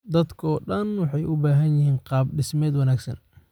Dadka oo dhan waxay u baahan yihiin qaab-dhismeed wanaagsan